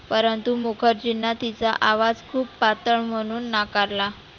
परंतु मुखर्जींना तीचा आवाज खुप पातळ म्हणुन नाकारला.